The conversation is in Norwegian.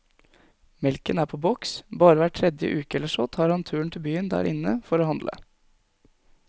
Melken er på boks, bare hver tredje uke eller så tar han turen til byen der inne for å handle.